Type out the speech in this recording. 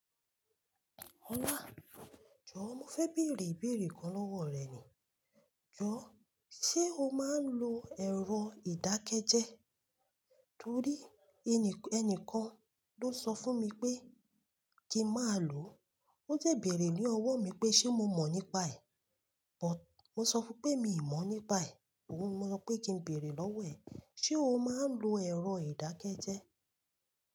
Ọlá, jọ mo fẹ́ bèèrè ìbéèrè kan lọ́wọ́ rẹ ni. Jọ, ṣe o máa ń lo ẹ̀rọ ìdákẹ́jẹ́? Torí ẹni, ẹnìkan ló sọ fún mi pé kí má lò ó. Ó de bèèrè ní ọwọ́ mi pé ṣe mo mọ̀ nípa ẹ̀. But mo sọ fún pé mi ò mọ̀ nípa ẹ̀. Óhun ní mo ọ pé kí n bèèrè lọ́wọ́ ẹ. Ṣé o máa ń lo ẹ̀rọ ìdákẹ́jẹ́?